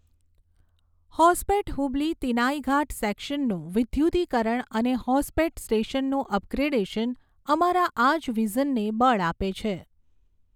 હોસપેટ હુબલી તિનાઇઘાટ સેક્શનનું વિદ્યુતીકરણ અને હોસપેટ સ્ટેશનનું અપગ્રેડેશન અમારાં આ જ વિઝનને બળ આપે છે.